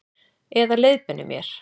Eða leiðbeinir mér.